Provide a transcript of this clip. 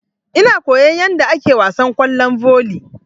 Ina koyan yadda ake wasan kwallon volley.